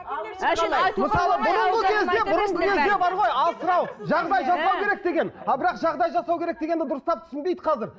жағдай жасау керек деген ал бірақ жағдай жасау керек дегенді дұрыстап түсінбейді қазір